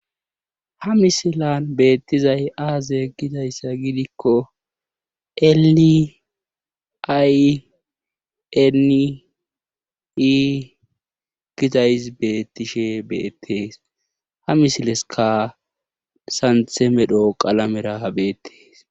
ha misilan beettizay aaze gidayssa gidikko eli ay enii gidays beettishe beettees ha misileska santhe medho qalamera beettees